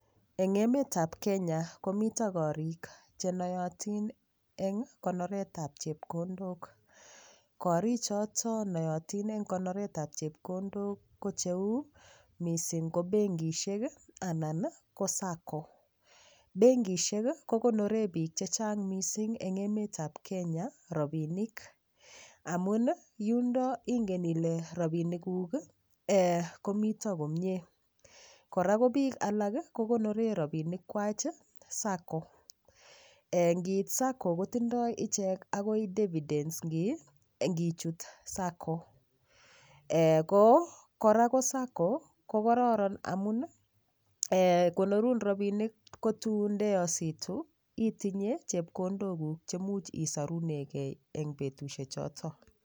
Eng' emetab Kenya komito korik chenoyotin eng' konoretab chepkondok korichoto nototin eng' konoretab chepkondok ko cheu mising' ko bengishek anan ko sacco bengishek kokonoree biik chechang' mising' eng' emetab Kenya rapinik amun yundo ingen ile rapinikuk komito komyee kora ko biik alak kokonoree rapinik kwach sacco kiit sacco kotindoi ichek akoi dividends ngichut sacco kora ko sacco kokororon amun konorun rapinik ko tun ndeyositi itinye chepkondo kuk chemuch isorunegei eng' betushechoto